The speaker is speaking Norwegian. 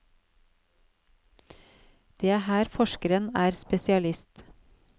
Det er her forskeren er spesialist.